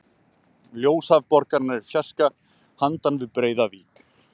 Ljósahaf borgarinnar í fjarska handan við breiða vík.